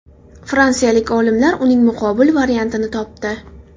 Fransiyalik olimlar uning muqobil variantini topdi .